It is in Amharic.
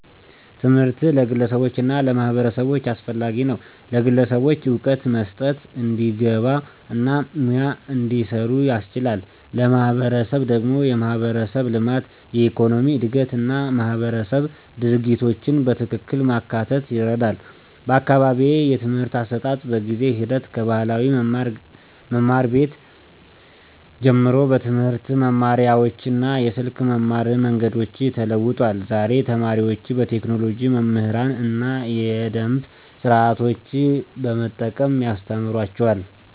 ትምህርት ለግለሰቦች እና ለማህበረሰቦች አስፈላጊ ነው፤ ለግለሰቦች እውቀት መስጠት፣ እንዲግባ እና ሙያ እንዲሰሩ ያስችላል። ለማህበረሰብ ደግሞ የማህበረሰብ ልማት፣ የኢኮኖሚ እድገት እና ማህበረሰብ ድርጊቶችን በትክክል ማካተት ይረዳል። በአካባቢዬ የትምህርት አሰጣጥ በጊዜ ሂደት ከባህላዊ መማር ቤት ጀምሮ በትምህርት መማሪያዎች እና የስልክ መማር መንገዶች ተለውጧል። ዛሬ ተማሪዎች በቴክኖሎጂ መምህራን እና የደምብ ስርዓቶችን በመጠቀም ያስተማሩአቸዋል።